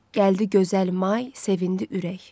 Gəldi gözəl may, sevindi ürək.